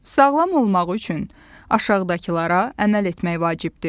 Sağlam olmaq üçün aşağıdakılara əməl etmək vacibdir.